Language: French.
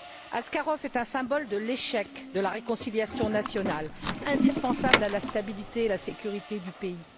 Askarov est un symbole de l'échec de la réconciliation nationale, indispensable à la stabilité et à la sécurité du pays.